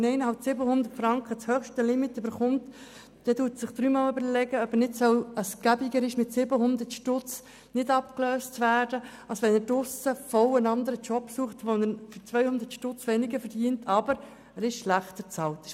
Erhält jemand das höchste Limit von 700 Franken, dann überlegt er es sich dreimal, ob er nicht bequemerweise mit 700 Franken in der Sozialhilfe verbleibt, statt draussen in der Arbeitswelt einen anderen Job zu suchen, bei dem er 200 Franken weniger verdient und somit schlechter bezahlt ist.